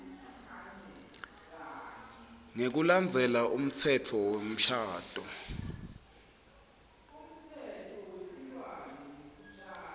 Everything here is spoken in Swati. ngekulandzela umtsetfo wemshado